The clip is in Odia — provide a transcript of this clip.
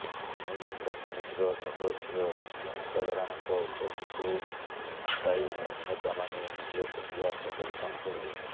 ଧନୁଯାତ୍ରା କମିଟିର ସଦସ୍ୟ ଏବଂ ଜନସାଧାରଣଙ୍କ ଉପସ୍ଥିତିରେ ଆଶାୟୀ ଅଭିନେତାମାନେ ନିଜ ପ୍ରତିଭା ପ୍ରଦର୍ଶନ କରିବେ